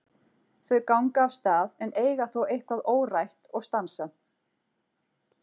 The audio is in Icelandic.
Þau ganga af stað en eiga þó eitthvað órætt og stansa.